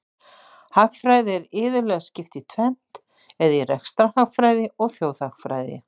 Hagfræði er iðulega skipt í tvennt, eða í rekstrarhagfræði og þjóðhagfræði.